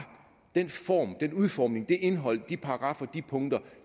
den form den udformning det indhold de paragraffer de punkter